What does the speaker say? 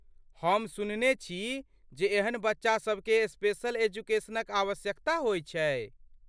हम सुनने छी जे एहन बच्चा सभकेँ स्पेशल एजुकेशन क आवश्यकता होइत छै।